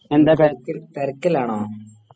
എന്താ തിരക്കിലാണോ?